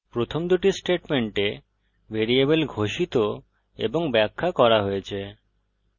প্রথম দুটি স্টেটমেন্টে ভ্যারিয়েবল ঘোষিত এবং ব্যাখ্যা করা হয়েছে